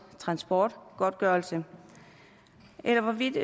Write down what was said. transportgodtgørelse eller hvorvidt